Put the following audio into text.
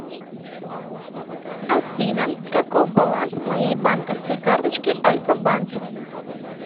афина каков баланс моей банковской карточки альфа банк